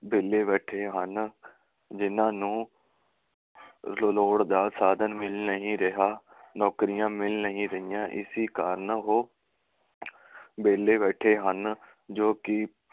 ਵਿਹਲੇ ਬੈਠੇ ਹਨ, ਜਿਨ੍ਹਾਂ ਨੂੰ ਲੋੜ ਦਾ ਸਾਧਨ ਮਿਲ ਨਹੀਂ ਰਿਹਾ, ਨੌਕਰੀਆਂ ਮਿਲ ਨਹੀ ਰਹੀਆਂ, ਇਸੀ ਕਾਰਨ ਉਹ ਵਿਹਲੇ ਬੈਠੇ ਹਨ ਜੋ ਕਿ